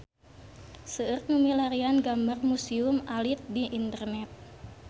Seueur nu milarian gambar Museum Alit di internet